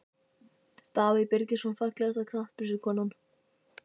Davíð Birgisson Fallegasta knattspyrnukonan?